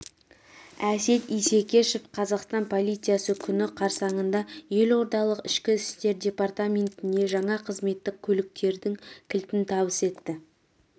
әсет исекешев қазақстан полициясы күні қарсаңында елордалық ішкі істер департаментіне жаңа қызметтік көліктердің кілтін табыс етті